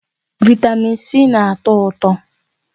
Vị́tamị́n C na-atọ ụtọ.